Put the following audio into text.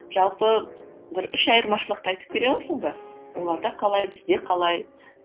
жалпы бір үш айырмашылықты айтып бере аласың ба оларда қалай бізде қалай